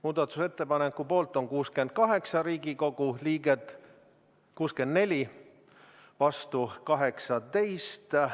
Muudatusettepaneku poolt on 64 Riigikogu liiget, vastu 18.